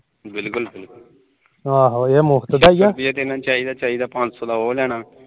ਚਾਹੀਦਾ ਪੰਜ ਸੋ ਦਾ ਉਹ ਲੈਣਾ